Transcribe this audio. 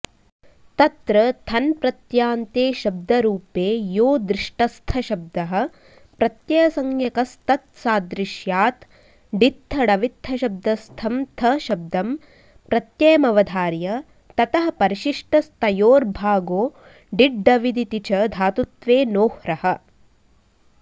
तत्र थन्प्रत्यान्ते शब्दरूपे यो दृष्टस्थशब्दः प्रत्ययसंज्ञकस्तत्सादृश्यात् डित्थडवित्थशब्दस्थं थशब्दं प्रत्ययमवधार्य ततः परिशिष्टस्तयोर्भागो डिड्डविदिति च धातुत्वेनोह्रः